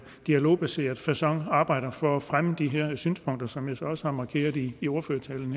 dialogbaseret facon arbejder for at fremme de her synspunkter som jeg så også har markeret i i ordførertalen